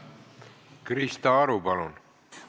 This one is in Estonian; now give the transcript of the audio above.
Krista Aru, palun!